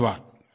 धन्यवाद